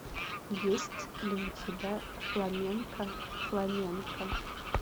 есть ли у тебя фламенко фламенко